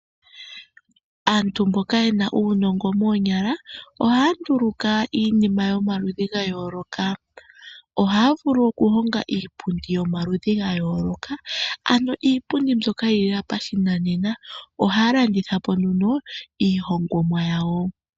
Aantu mboka ye na uunongo moonyala ohaya nduluka iinima yomaludhi ga yooloka. Ohaya vulu okuhonga iipundi yomaludhi ga yooloka, ano iipundi mbyoka yi li lela pashinanena. Ohaya landitha po nduno iihingomwa yawo.